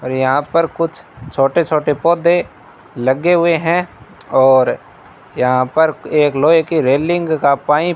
अरे यहां पर कुछ छोटे छोटे पौधे लगे हुए हैं और यहां पर एक लोहे की रेलिंग का पाइप --